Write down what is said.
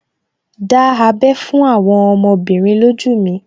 Dá abẹ́ fún àwọn ọmọbìnrin lójú mi